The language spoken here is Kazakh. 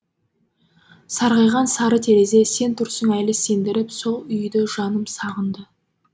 сарғайған сары терезе сен тұрсың әлі сендіріп сол үйді жаным сағынды